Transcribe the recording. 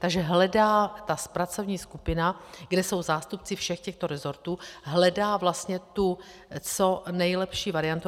Takže hledá ta pracovní skupina, kde jsou zástupci všech těchto resortů, hledá vlastně tu co nejlepší variantu.